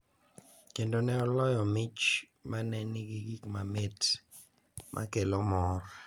Kendo ne oloyo mich ma ne nigi gik mamit ma kelo mor.